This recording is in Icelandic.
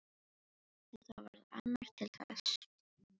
En það varð annar til þess.